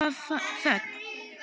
Það var þögn.